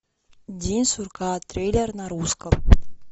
день сурка трейлер на русском